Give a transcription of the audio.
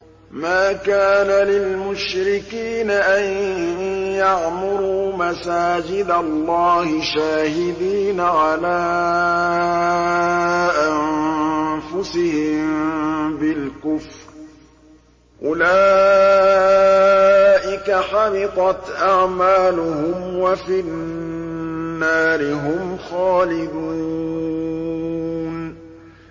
مَا كَانَ لِلْمُشْرِكِينَ أَن يَعْمُرُوا مَسَاجِدَ اللَّهِ شَاهِدِينَ عَلَىٰ أَنفُسِهِم بِالْكُفْرِ ۚ أُولَٰئِكَ حَبِطَتْ أَعْمَالُهُمْ وَفِي النَّارِ هُمْ خَالِدُونَ